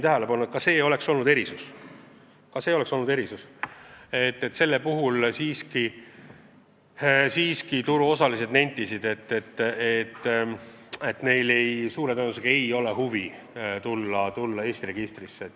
Aga turuosalised nentisid, et suure tõenäosusega sellest erisusest ei piisa, et tekitada huvi tulla Eesti registrisse.